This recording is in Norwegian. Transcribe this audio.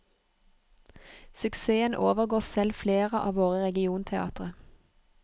Suksessen overgår selv flere av våre regionteatre.